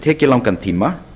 tekið langan tíma